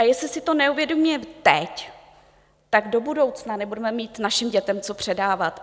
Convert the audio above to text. A jestli si to neuvědomíme teď, tak to budoucna nebudeme mít našim dětem co předávat.